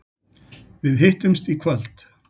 Við hittumst í kvöld.